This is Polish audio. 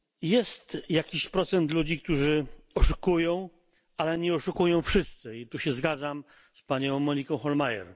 Jest jakiś procent ludzi, którzy oszukują, ale nie oszukują wszyscy i tu się zgadzam z panią Moniką Hohlmeier.